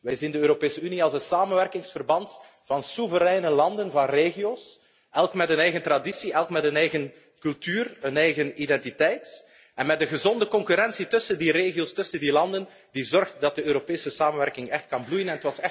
Wij zien de Europese Unie als een samenwerkingsverband van soevereine landen, van regio's, elk met een eigen traditie, elk met een eigen cultuur, een eigen identiteit en met een gezonde concurrentie tussen die regio's, tussen die landen, die zorgt dat de Europese samenwerking echt kan bloeien.